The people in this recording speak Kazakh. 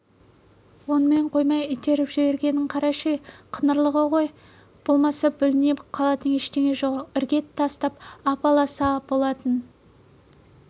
онымен қоймай итеріп жібергенін қарашы ей қыңырлығы ғой болмаса бүліне қалатын ештеңе жоқ іргетас ап-аласа болатын